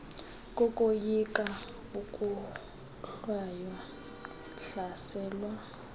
kokoyika ukohlwaywa hlaselwa